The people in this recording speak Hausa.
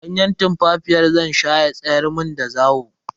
Ganye tumfafiya zan sha ya tsayar mun da zawo.